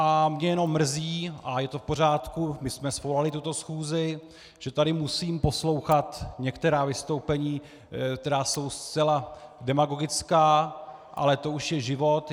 A mě jenom mrzí - a je to v pořádku, my jsme svolali tuto schůzi -, že tady musím poslouchat některá vystoupení, která jsou zcela demagogická, ale to už je život.